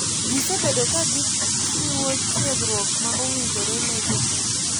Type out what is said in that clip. Gi sebedpo ka gi chiwo tiegruok ma owinjore ne jotugo.